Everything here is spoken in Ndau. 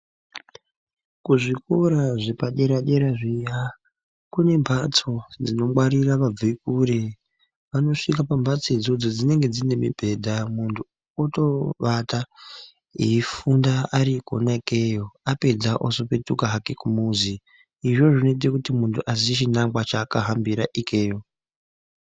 Kuzvikora zvepadera dera zviya kune mbatso dzinongwarira vabve kure. Vanosvika pambatso idzodzo dzinenge dzine mibhedha muntu otowata eifunda ari kona ikeyo apedza ozopetuka hake kumuzi. Izvozvo zvinoite kuti muntu aziye chinangwa chaakahambira ikeyo.